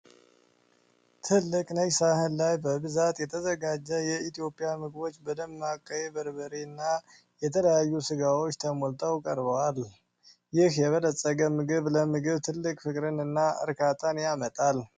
ትልቅ ነጭ ሳህን ላይ በብዛት የተዘጋጀ የኢትዮጵያ ምግቦች በደማቅ ቀይ በርበሬ እና የተለያዩ ስጋዎች ተሞልቶ ቀርቧል። ይህ የበለፀገ ምግብ ለምግብ ትልቅ ፍቅርን እና እርካታን ያመጣል።